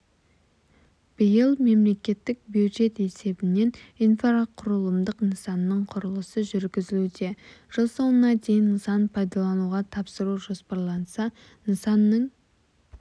биыл мемлекеттік бюджет есебінен инфрақұрылымдық нысанның құрылысы жүргізілуде жыл соңына дейін нысан пайдалануға тапсыру жоспарланса нысанның